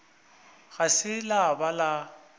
ga se la ba le